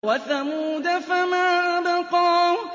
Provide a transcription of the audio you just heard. وَثَمُودَ فَمَا أَبْقَىٰ